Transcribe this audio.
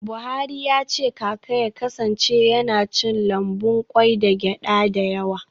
Buhari ya ce kaka ya kasance yana cin lambun kwai da gyada da yawa.